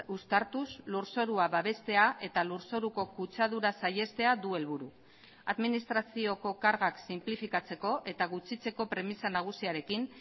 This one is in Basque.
uztartuz lurzorua babestea eta lurzoruko kutsadura saihestea du helburu administrazioko kargak sinplifikatzeko eta gutxitzeko premisa nagusiarekin